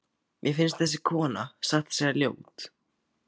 Mér finnst þessi kona satt að segja ljót.